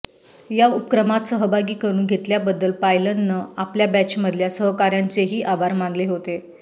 या उपक्रमात सहभागी करून घेतल्याबद्दल पायलनं आपल्या बॅचमधल्या सहकाऱ्यांचेही आभार मानले होते